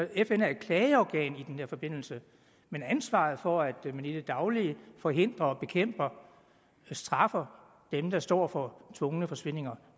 fn er et klageorgan i den her forbindelse men ansvaret for at man i det daglige forhindrer og bekæmper og straffer dem der står for tvungne forsvindinger